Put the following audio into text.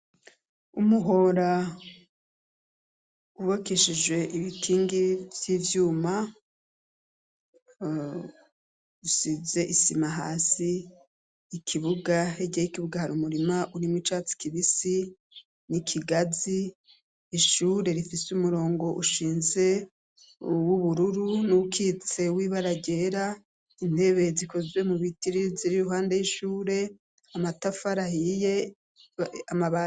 Umuhora wubakishijwe ibikigi vy'ivyuma, bisize isima hasi, hirya yikibuga hari umurima w'icatsi kibisi ikigazi, ishure rifise umurongo ushize w'ubururu uwukitse w'ibara ryera, intebe zikozwe mubiti ziri iruhande y'ishure, amatafari ahiye.